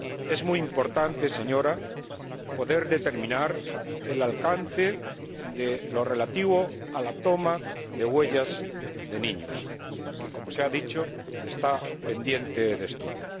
Es muy importante, señora, poder determinar el alcance de lo relativo a la toma de huellas de niños, que, como se ha dicho, está pendiente de estudio.